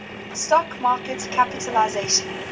stock market capitalisation